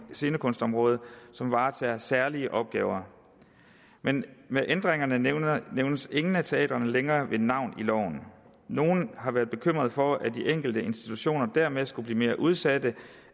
scenekunstområdet som varetager særlige opgaver men med ændringerne nævnes nævnes ingen af teatrene længere ved navn i loven nogle har været bekymret for at de enkelte institutioner dermed skulle blive mere udsatte